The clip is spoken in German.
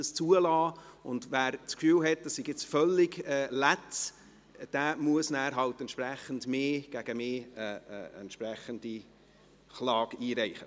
Wer das Gefühl hat, das sei völlig falsch, muss gegen mich entsprechend Klage einreichen.